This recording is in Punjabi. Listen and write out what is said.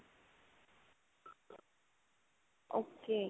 okay.